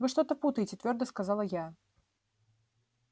вы что-то путаете твёрдо сказала я